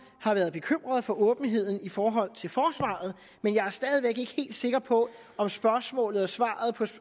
har været bekymret for åbenheden i forhold til forsvaret men jeg er stadig væk ikke helt sikker på om spørgsmålet og svaret